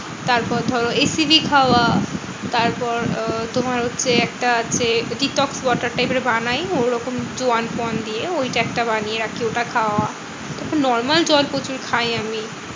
তারপর ধরো এই সিভি খাওয়া। তারপর আহ তোমার হচ্ছে একটা আছে detox water type এর বানাই ঐরকম জোয়ান ফোআন দিয়ে। ঐটা একটা বানিয়ে রাখি ঐটা খাওয়া। normal জল প্রচুর খাই আমি।